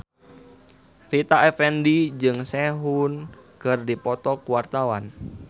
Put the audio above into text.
Rita Effendy jeung Sehun keur dipoto ku wartawan